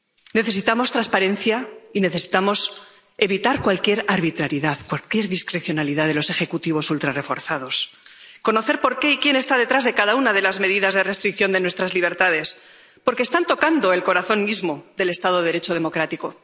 Necesitamos transparencia y necesitamos evitar cualquier arbitrariedad, porque es discrecionalidad de los Ejecutivos ultrarreforzados conocer por qué y quién está detrás de cada una de las medidas de restricción de nuestras libertades, porque están tocando el corazón mismo del Estado de Derecho democrático.